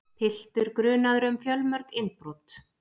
Piltur grunaður um fjölmörg innbrot